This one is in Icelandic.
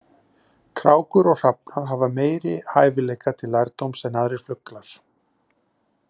Krákur og hrafnar hafa meiri hæfileika til lærdóms en aðrir fuglar.